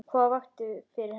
Hvað vakti fyrir henni?